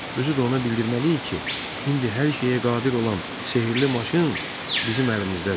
Özü də ona bildirməliyik ki, indi hər şeyə qadir olan sehrli maşın bizim əlimizdədir.